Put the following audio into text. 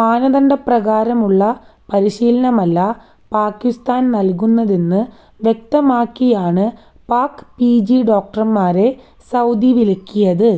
മാനദണ്ഡപ്രകാരമുള്ള പരിശീലനമല്ല പാകിസ്ഥാൻ നൽകുന്നതെന്ന് വ്യക്തമാക്കിയാണ് പാക് പിജി ഡോക്ടർമാരെ സൌദി വിലക്കിയത്